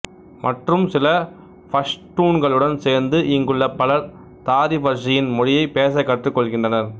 மற்றும் சில பஷ்டூன்களுடன் சேர்ந்து இங்குள்ள பலர் தாரிபர்ஸியன் மொழியை பேசக் கற்றுக் கொள்கின்றனர்